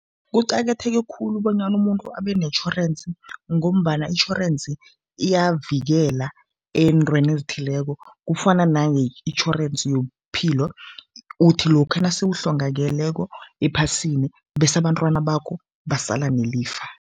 Kuqakatheke khulu bonyana umuntu abe netjhorensi ngombana itjhorensi iyavikela eentweni ezithileko. Kufana nange-itjhorensi yobuphilo, uthi lokha nase uhlongakeleko ephasini bese abantwana bakho basala nelifa.